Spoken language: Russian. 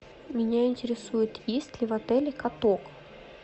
меня интересует есть ли в отеле каток